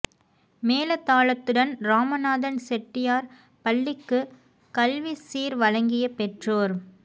மேள தாளத்துடன் இராமநாதன் செட்டியார் பள்ளிக்கு கல்வி சீர் வழங்கிய பெற்றோர்